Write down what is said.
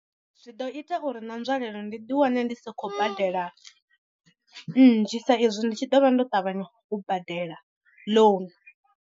Zwi ḓo ita uri na nzwalelo ndi ḓi wane ndi si khou badela nnzhi sa izwi ndi tshi ḓo vha ndo tavhanya u badela ḽounu.